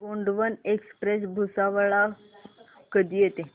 Gondwana express Bhusawal ला कधी येते